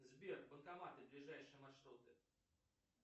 сбер банкоматы ближайшие маршруты